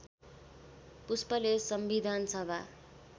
पुष्पले संविधान सभा